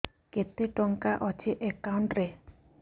କେତେ ଟଙ୍କା ଅଛି ଏକାଉଣ୍ଟ୍ ରେ